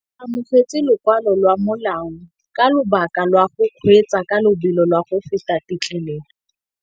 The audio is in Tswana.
O amogetse lokwalô lwa molao ka lobaka lwa go kgweetsa ka lobelo la go feta têtlêlêlô.